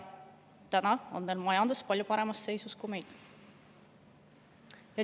Nende majandus on nüüd palju paremas seisus kui meie oma.